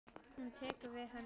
Hún tekur við henni.